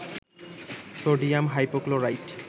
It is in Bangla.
sodium hypochlorite